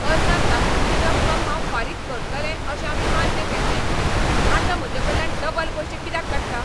अर्जांत दाखयिल्ली रक्कम हांव फारीक करतलें अशें आमी मान्य केल्ले. आतां म्हजेकडल्यान डबल पयशें कित्याक काडटा?